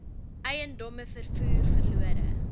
eiendomme vervoer verlore